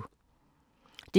DR P4 Fælles